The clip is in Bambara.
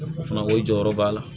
O fana ko jɔyɔrɔ b'a la